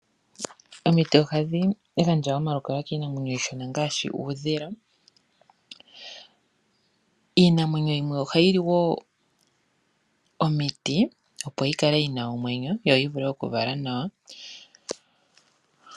Omiti ohadhi gandja omalukalwa kiinamwenyo iishona ngaashi uudhila. Iinamwenyo yimwe ohayi li omiti opo yi kale yina omwenyo yo yi vulu okuvala nawa.